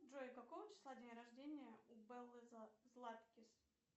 джой какого числа день рождение у беллы златкис